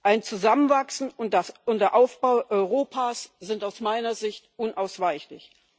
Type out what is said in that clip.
Ein Zusammenwachsen und der Aufbau Europas sind aus meiner Sicht unausweichlich.